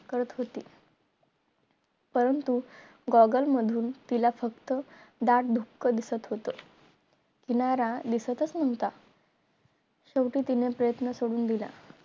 करत होती परंतु goggle मधून तिला फक्त दाड दुख दिसत होत किनारा दिसतच नव्हता शेवटी तिने प्रयत्न सोडोन दिला